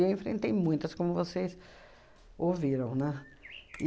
eu enfrentei muitas, como vocês ouviram, né?